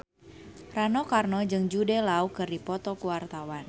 Rano Karno jeung Jude Law keur dipoto ku wartawan